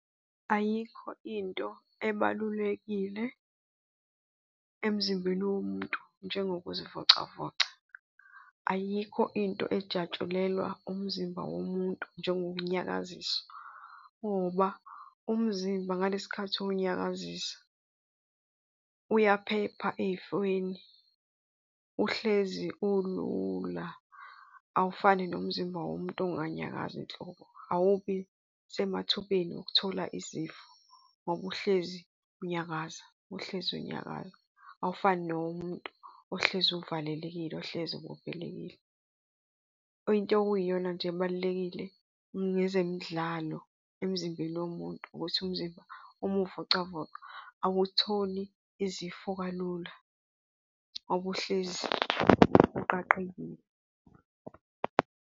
Ayikho into ebalulekile emzimbeni womuntu njengokuzivocavoca, ayikho into ejatshulelwa umzimba womuntu njengokuwunyakaziswa ngoba umzimba ngalesi khathi uwunyakazisa uyaphepha ey'fweni, uhlezi ulula, awufani nomzimba womuntu onganyakazi nhlobo. Awubi semathubeni okuthola izifo ngoba uhlezi unyakaza, uhlezi unyakaza. Awufani nowomuntu ohlezi uvalelekile, ohlezi ubopholekile. Into okuyiyona nje ebalulekile ngezemidlalo emzimbeni womuntu ukuthi umzimba uma uwuvocavoca awutholi izifo kalula okuhlezi uqaqekile.